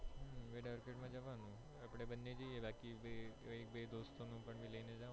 wed arcade માં જવાનું આપણે બંને જઈએ બાકી એક બે દોસ્તો ને પણ લઇ જવાનું